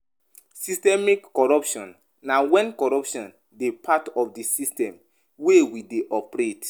Systemic corruption na when corruption dey part of di system wey we dey operate